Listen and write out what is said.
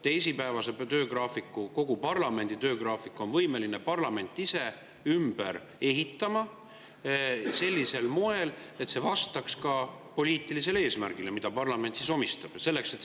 Teisipäevase töögraafiku, kogu parlamendi töögraafiku on parlament võimeline ise ümber ehitama sellisel moel, et see vastaks ka poliitilisele eesmärgile, mida parlament omistab.